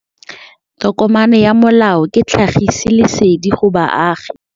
Tokomane ya molao ke tlhagisi lesedi go baagi.